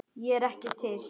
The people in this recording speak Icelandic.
Ég er ekki til.